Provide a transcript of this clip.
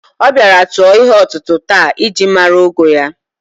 O bịara tụọ ihe ọtụtụ taa e ji mara ogo ya